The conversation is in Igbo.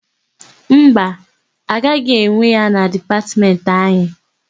Mba, agaghị ewe ya na Dipatmentị anyị.